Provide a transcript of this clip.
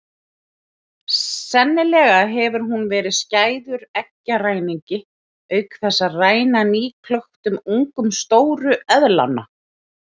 Sennilega hefur hún verið skæður eggjaræningi auk þess að ræna nýklöktum ungum stóru eðlanna.